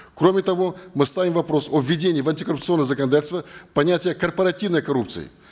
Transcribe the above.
кроме того мы ставим вопрос о введении в антикоррупционное законодательство понятия корпоративной коррупции